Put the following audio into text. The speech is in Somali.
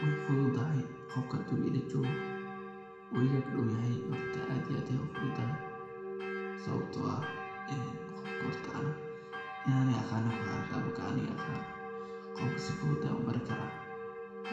Wey fududahay qofka hadi uu ilajogo oo iga ag dowyahay horta aad iyo aad ayey ufududahay sawabto ah qofta horta in an aniga aqano kuxirantahay markan aniga aqano qofka sifudud ayan ubari kara